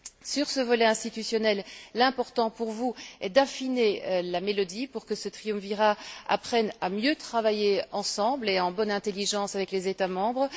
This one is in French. Sur ce volet institutionnel, l'important pour vous est d'affiner la mélodie pour que ce triumvirat apprenne à mieux travailler ensemble et en bonne intelligence avec les États membres.